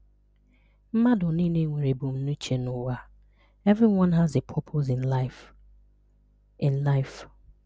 Mmadụ niile nwere ebumnuche n’ụwa. (Everyone has a purpose in life.) in life.)